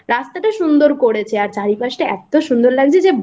রাস্তাটা সুন্দর করেছে আর চারপাশটা এতো সুন্দর লাগছে যে